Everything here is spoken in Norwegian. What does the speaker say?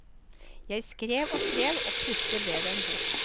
Jeg skrev og skrev, og plutselig ble det en bok.